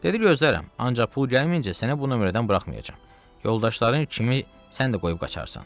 Dedi gözlərəm, ancaq pul gəlməyincə səni bu nömrədən buraxmayacam, yoldaşların kimi sən də qoyub qaçarsan.